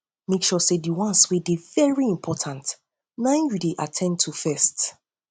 mek sure sey di ones wey dey very important na im yu dey at ten d to first